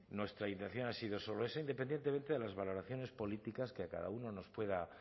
nuestra intención ha sido solo esa independientemente de las valoraciones políticas que a cada uno nos pueda